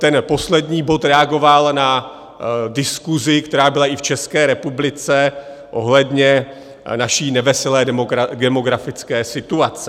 Ten poslední bod reagoval na diskusi, která byla i v České republice, ohledně naší neveselé demografické situace.